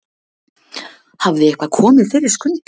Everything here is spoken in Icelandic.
Hafði eitthvað komið fyrir Skunda?